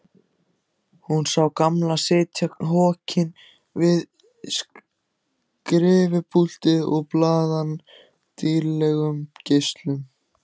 Hún sá Gamla sitja hokinn við skrifpúltið baðaðan dýrlegum geislum.